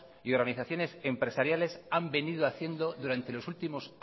y organizaciones empresariales han venido haciendo durante los últimos